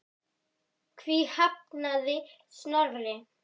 Því hafnaði Snorri.